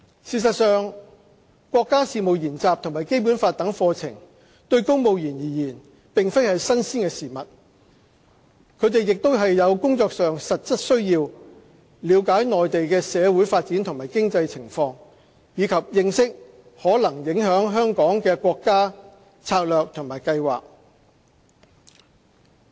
事實上，國家事務研習和《基本法》等課程對公務員而言並非新鮮事物，他們亦有工作上的實質需要了解內地的社會發展和經濟情況，以及認識可能影響香港的國家策略和計劃。